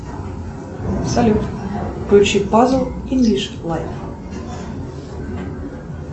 салют включи пазл инглиш лайф